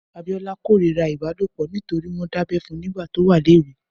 Abiola kórirá ibálópọ̀ nitóri wọn dábẹ̀ fún nigbà tó wà léwé